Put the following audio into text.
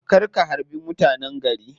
Kar ka harbi mutanen gari.